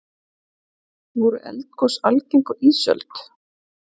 voru eldgos algeng á ísöld